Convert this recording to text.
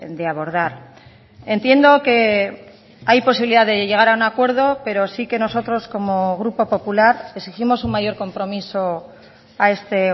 de abordar entiendo que hay posibilidad de llegar a un acuerdo pero sí que nosotros como grupo popular exigimos un mayor compromiso a este